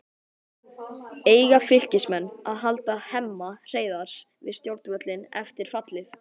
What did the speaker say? Eiga Fylkismenn að halda Hemma Hreiðars við stjórnvölinn eftir fallið?